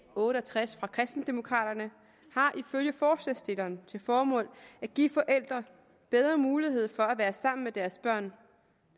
otte og tres af kristendemokraterne har ifølge forslagsstilleren til formål at give forældre bedre mulighed for at være sammen med deres børn